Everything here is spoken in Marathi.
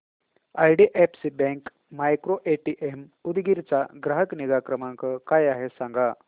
आयडीएफसी बँक मायक्रोएटीएम उदगीर चा ग्राहक निगा क्रमांक काय आहे सांगा